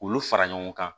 Olu fara ɲɔgɔn kan